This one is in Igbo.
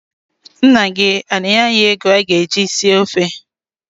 Nna gị ana-enye anyị ego anyị ga-eji si ofe?